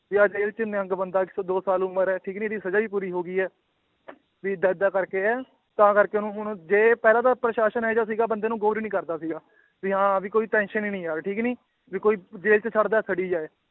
ਵੀ ਆਹ ਜੇਲ੍ਹ 'ਚ ਨਿਹੰਗ ਬੰਦਾ ਇੱਕ ਸੌ ਦੋ ਸਾਲ ਉਮਰ ਹੈ ਠੀਕ ਨੀ ਇਹਦੀ ਸਜ਼ਾ ਵੀ ਪੂਰੀ ਹੋ ਗਈ ਆ ਵੀ ਏਦਾਂ ਏਦਾਂ ਕਰਕੇ ਹੈ, ਤਾਂ ਕਰਕੇ ਉਹਨੂੰ ਹੁਣ ਜੇ ਪਹਿਲਾਂ ਤਾਂ ਪ੍ਰਸਾਸ਼ਨ ਇਹ ਜਿਹਾ ਸੀਗਾ ਬੰਦੇ ਨੂੰ ਗੋਰ ਹੀ ਨੀ ਕਰਦਾ ਸੀਗਾ ਵੀ ਹਾਂ ਵੀ ਕੋਈ tension ਹੀ ਨੀ ਯਾਰ ਠੀਕ ਨੀ, ਵੀ ਕੋਈ ਜੇਲ੍ਹ 'ਚ ਸੜਦਾ ਸੜੀ ਜਾਏ